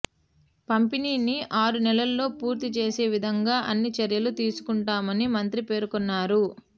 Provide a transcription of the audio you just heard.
పంపిణీని ఆరు నెలల్లో పూర్తి చేసే విధంగా అన్ని చర్యలు తీసుకుంటామని మంత్రి పేర్కొన్నారు